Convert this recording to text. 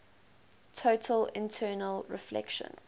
total internal reflection